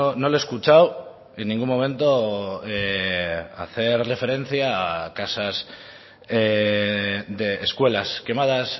no le he escuchado en ningún momento hacer referencia a casas de escuelas quemadas